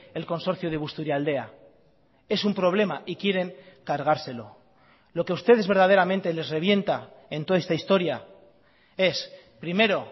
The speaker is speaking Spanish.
el consorcio de busturialdea es un problema y quieren cargárselo lo que ustedes verdaderamente les revienta en toda esta historia es primero